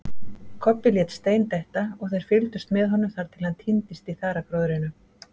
Kobbi lét stein detta og þeir fyldust með honum þar til hann týndist í þaragróðrinum.